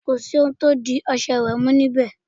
Kò sì ohun tí ń di ọṣẹ ìwẹ̀ mú níbẹ̀.